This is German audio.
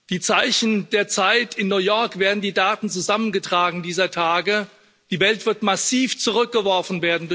Die Zeichen der Zeit in New York werden die Daten zusammengetragen dieser Tage Die Welt wird durch Corona massiv zurückgeworfen.